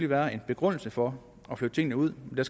være en begrundelse for at flytte tingene ud men